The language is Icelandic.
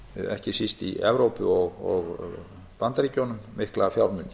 ekki síst í evrópu og bandaríkjunum mikla fjármuni